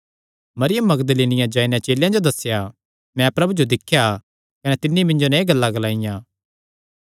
मरियम मगदलीनिया जाई नैं चेलेयां जो दस्सेया मैं प्रभु जो दिख्या कने तिन्नी मिन्जो नैं एह़ गल्लां ग्लाईयां